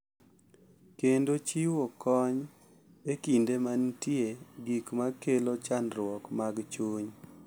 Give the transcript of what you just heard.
Kendo chiwo kony e kinde ma nitie gik ma kelo chandruok mag chuny.